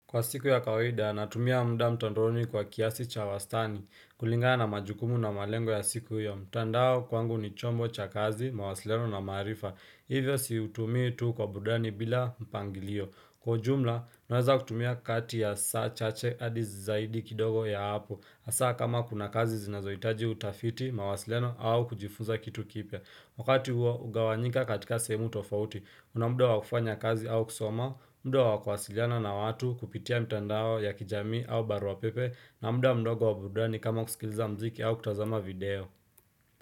Kwa siku ya kawaida, natumia muda mtandaoni kwa kiasi cha wastani, kulingana na majukumu na malengo ya siku hiyo. Mtandao kwangu ni chombo cha kazi, mawasiliano na maarifa. Hivyo siutumii tu kwa burudani bila mpangilio. Kwa ujumla, ninaweza kutumia kati ya saa chache hadi zaidi kidogo ya hapo. Hasa kama kuna kazi zinazohitaji utafiti, mawasiliano au kujifunza kitu kipya. Wakati huo, ugawanyika katika sehemu tofauti. Kunamuda wakufanya kazi au kusoma, muda wa kuwasiliana na watu kupitia mtandao ya kijamii au barua pepe na muda mdogo waburudani kama kusikiliza muziki au kutazama video.